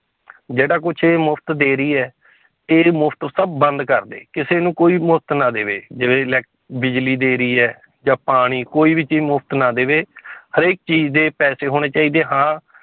ਜਿਹੜਾ ਕੁਛ ਇਹ ਮੁਫ਼ਤ ਦੇ ਰਹੀ ਹੈ ਇਹ ਮੁਫ਼ਤ ਸਭ ਬੰਦ ਕਰ ਦੇ ਕਿਸੇ ਨੂੰ ਕੋਈ ਮੁਫ਼ਤ ਨਾ ਦੇਵੇ ਜਿਵੇਂ ਇਲੈਕ ਬਿਜ਼ਲੀ ਦੇ ਰਹੀ ਹੈ, ਜਾਂ ਪਾਣੀ ਕੋਈ ਵੀ ਚੀਜ਼ ਮੁਫ਼ਤ ਨਾ ਦੇਵੇ ਹਰੇਕ ਚੀਜ਼ ਦੇ ਪੈਸੇ ਹੋਣੇ ਚਾਹੀਦੇ ਹਾਂ